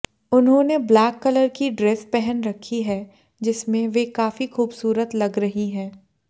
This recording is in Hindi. उन्होंने ब्लैक कलर की ड्रेस पहन रखी है जिसमें वे काफी खूबसूरत लग रही हैं